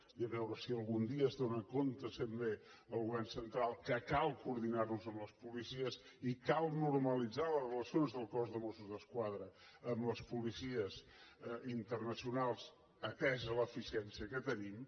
i a veure si algun dia s’adona també el govern central que cal coordinar nos amb les policies i cal normalitzar les relacions del cos de mossos d’esquadra amb les policies internacional atesa l’eficiència que tenim